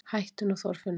Hættu nú Þorfinnur!